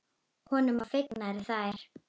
Honum voru fengnar þær.